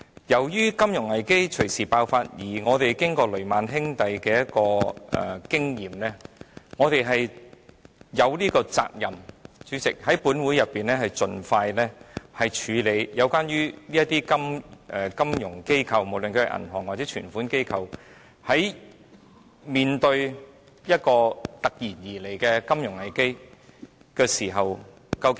由於金融危機隨時爆發，加上我們在雷曼兄弟事件中得到的經驗，主席，我們有責任在本會盡快處理有關的金融機構，無論是銀行或接受存款機構，究竟應如何面對突然而來的金融危機這課題。